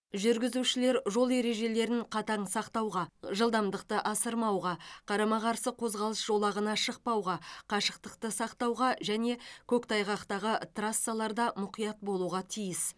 жүргізушілер жол ережелерін қатаң сақтауға жылдамдықты асырмауға қарама қарсы қозғалыс жолағына шықпауға қашықтықты сақтауға және көктайғақтағы трассаларда мұқият болуға тиіс